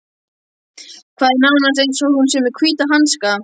Það er nánast eins og hún sé með hvíta hanska.